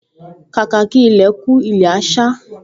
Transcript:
Kàkà kí ilẹ̀ kú, ilẹ̀ á sá